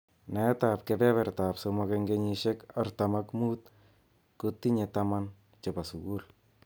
Naet ab kebeberta ab somok eng kenyishek artam ak mut kotinye taman chebo sukul.